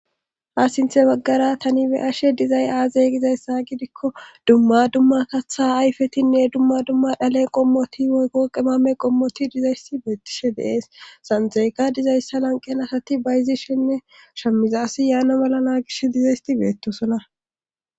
ha sinthe baggara tani be ashe dizay aazey gizayssa gidikko dumma dumma katha ayfetinne dumma dumma dhaley qommoti woykko qemame qommoti dizaysti beettishe dees sandzeyka dizayssa lanqen asati bayzishenne shammiza asi yaana mala naagish dizaysti beettosona